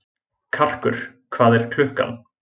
Karkur, hvað er klukkan?